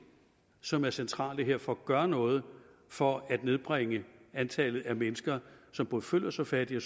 som er centrale her for at gøre noget for at nedbringe antallet af mennesker som både føler sig fattige